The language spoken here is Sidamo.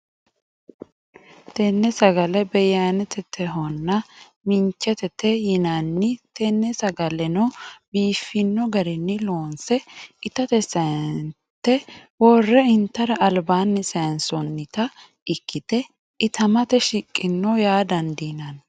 Tene sagale beyayinetehonna minchetete yinnanni, tene sagaleno biifino garinni loonse ittate sayinete wore intara alibanni sayinsonitta ikkite itamate shiqino yaa dandinanni